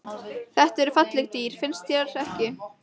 Þetta eru falleg dýr, finnst þér ekki?